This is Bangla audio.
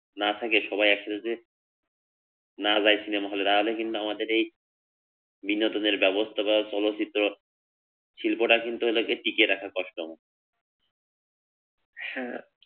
না থাকে সবাই একসাথে না যাই সিনেমা হল এ তাহলে কিন্তু আমাদের এই বিনোদনের ব্যবস্থা বা চলচ্চিত্র শিল্পটাকে কিন্তু টিকিয়ে রাখা কষ্টকর।